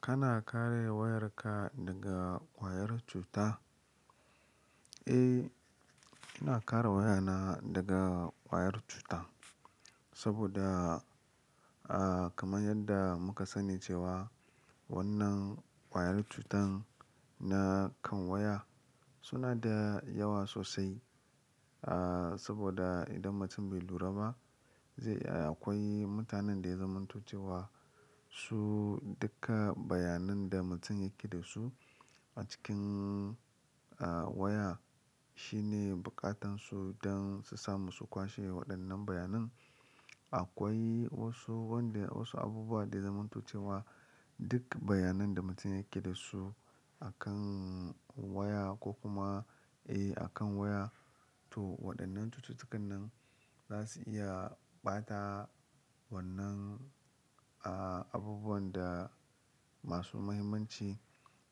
Kana kare wayarka daga wayar cuta? Eh, ina kare wayana daga ƙwayar cuta saboda, ah, kamar yadda muka sani cewa wannan ƙwayar cutan na kan waya suna da yawa sosai. Ah, saboda idan mutum bai lura ba zai, akwai mutanen da ya zamanto cewa su duka bayanan da mutum yake da su a cikin, ah, waya shine bukatansu don su samu su kwashe waɗannan bayanan. Akwai wasu wanda wasu abubuwa da ya zamanto cewa duka bayanan da mutum yake da su a kan waya ko kuma, eh, akan waya. To waɗannan cututtukan nan za su iya ɓata wannan, ah, abubuwan da masu muhimmanci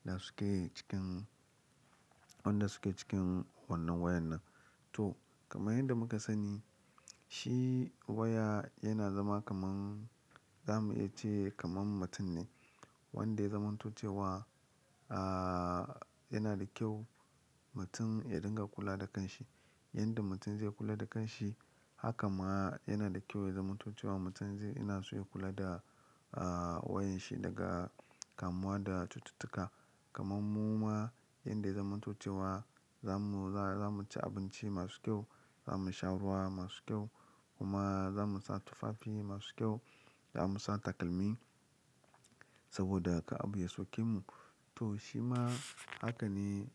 da suke cikin, wanda suke cikin wannan wayar nan. To kamar yadda kuka sani shi waya yana zama kamar zamu iya ce kamar mutum ne wanda ya zamanto cewa, ah, yana da kyau mutum ya dinga kula da kanshi. Yanda mutum zai kula da kanshi haka ma yana da kyau ya zamanto cewa mutum zai ina so ya kula da, ah, wayanshi daga kamuwa da cututtuka. Kaman mu ma yanda ya zamanto cewa zamu, za, zamu ci abinci masu kyau, zamu sha ruwa masu kyau kuma zamu sa tufafi masu kyau, za mu sa takalmi saboda kar abu ya soke mu. To shi ma haka ne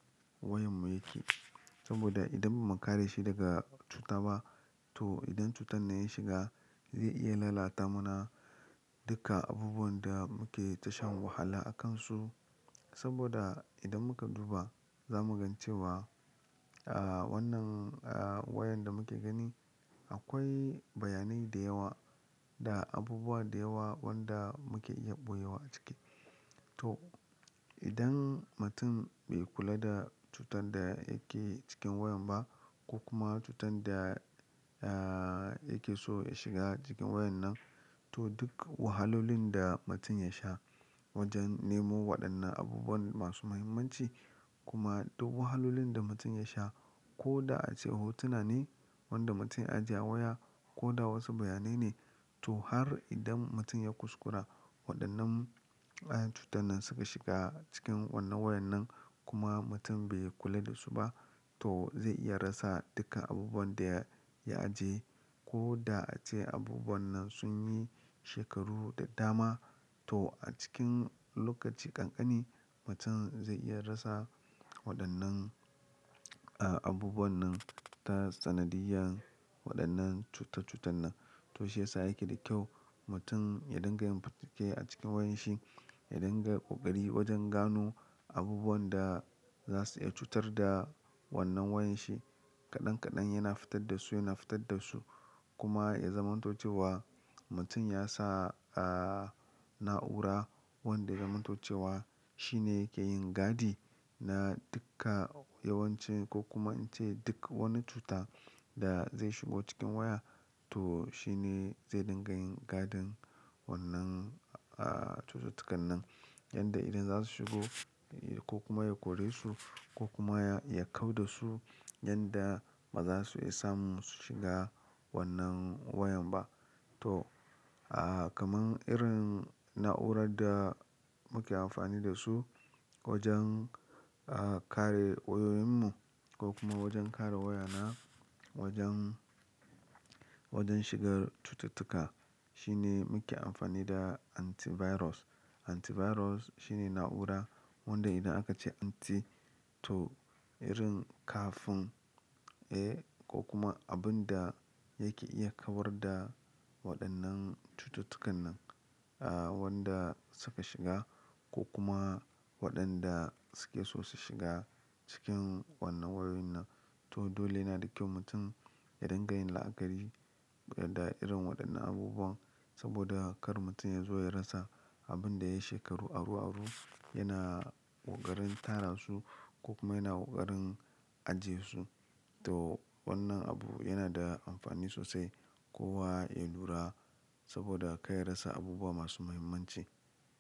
wayanmu yake saboda idan ba muka kare shi daga cuta ba to idan cutan ne ya shiga zai iya lalata mana duka abubuwan da muke ta shan wahala a kansu. Saboda idan muka duba za mu gan cewa, ah, wannan, ah, wayan da muke gani akwai bayanai da yawa da abubuwa da yawa wanda muke iya ɓoye wa a ciki. To idan mutum bai kula da cutar da yake cikin wayan ba ko kuma cutar da, ah, yake so ya shiga cikin wayan nan to duk wahalolin da mutum ya sha wajen nemo waɗannan abubuwan masu muhimmanci kuma duk wahalolin da mutum ya sha ko da ace hotuna ne wanda mutum ya ajiye a waya ko da wasu bayanai ne. To har idan mutum ya kuskura waɗannan, ah, cutan nan suka shiga cikin wannan wayar nan kuma mutum bai kula da su ba to zai iya rasa duka abubuwan da ya, ya ajiye ko da ace abubuwan nan sun yi shekaru da dama. To a cikin lokaci ƙanƙani mutum zai iya rasa waɗannan, ah, abubuwan nan ta sanadiyan waɗannan cuta cutan nan. To shi yasa yake da kyau mutum ya dinga yin fatake a cikin wayanshi, ya dinga ƙoƙari wajen gano abubuwan da za su iya cutar da wannan wayanshi. Kaɗan kaɗan yana fitar da su, yana fitar da su kuma ya zamanancewa mutum ya sa, ah, na'ura wanda ya zamanto cewa shi ne yake yin gadi na duka yawanci ko kuma ince duk wani cuta da zai shigo cikin waya to shi ne zai dinga yin gadin wannan, ah, cututtukan nan. Yanda idan za su shigo, eh, ko kuma ya kore su ko kuma ya, ya kau da su yanda ba za su iya samu su shiga wannan wayan ba. To, ah, kamar irin na'urar da muke amfani da su wajen, ah, kare wayoyinmu ko kuma wajen kare wayana wajen, wajen shigar cututtuka shi ne muke amfani da antivirus. Antivirus shine na'ura wanda idan aka ce anti to irin kafin, eh, ko kuma abun da yake iya kawar da waɗannan cututtukan nan, ah, wanda suka shiga ko kuma waɗanda suke so su shiga cikin wannan wayoyin nan. To dole yana da kyau mutum ya dinga yin la'akari da irin waɗannan abubuwan saboda kar mutum ya zo ya rasa abun da yayi shekaru aru-aru yana ƙoƙarin tara su ko kuma yana ƙoƙarin ajiye su. To wannan abu yana da amfani sosai kowa ya lura saboda kai ya rasa abubuwa masu muhimmanci.